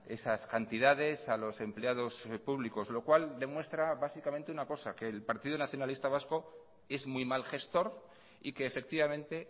esas cantidades a los empleados públicos lo cual demuestra básicamente una cosa que el partido nacionalista vasco es muy mal gestor y que efectivamente